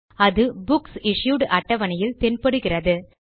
அது books issued அட்டவணையில் தென்படுகிறது